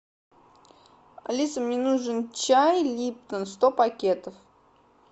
алиса мне нужен чай липтон сто пакетов